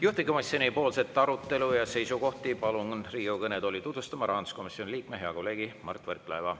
Juhtivkomisjoni arutelu ja seisukohti palun Riigikogu kõnetooli tutvustama rahanduskomisjoni liikme, hea kolleegi Mart Võrklaeva.